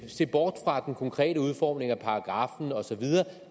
se bort fra den konkrete udformning af paragraffen og så videre